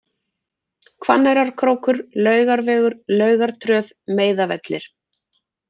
Hvanneyrarkrókur, Laugarvegur, Laugartröð, Meiðavellir